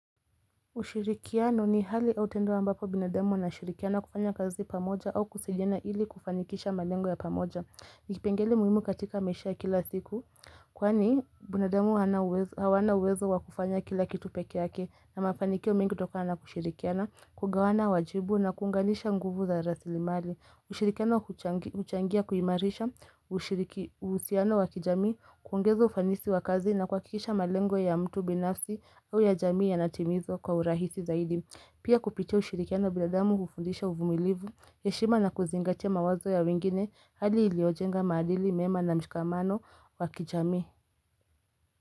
Ushirikiano ni hali autendo ambapo binademu na shirikiano kufanya kazi pamoja au kusilena ili kufanikisha malengo ya pamoja Nikipengele muhimu katika meshea kila siku Kwani binademu hawana uwezo wakufanya kila kitupeke yake na mafanikio mingi toko hana kushirikiano Kugawana wajibu na kuunganisha nguvu za rasili mali Usirikiano kuchangia kuhimarisha usirikiano wakijami kuongezo ufanisi wakazi na kuakikisha malengo ya mtu binafsi au ya jami ya natimizo kwa urahisi zaidi. Pia kupitia usirikiano bila damu kufundisha uvumilivu ya shima na kuzingatia mawazo ya wengine hali iliojenga madili mema na mshikamano wakijami.